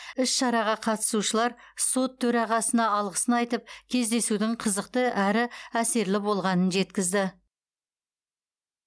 іс шараға қатысушылар сот төрағасына алғысын айтып кездесудің қызықты әрі әсерлі болғанын жеткізді